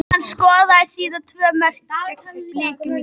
Hann skoraði síðan tvö mörk gegn Blikum í gær.